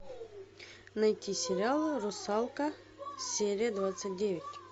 найти сериал русалка серия двадцать девять